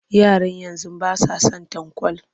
Yaran yanzu ba sa son tanƙwal